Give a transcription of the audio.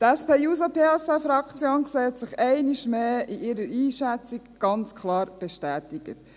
Die SP-JUSO-PSAFraktion sieht sich einmal mehr ganz klar in ihrer Einschätzung bestätigt.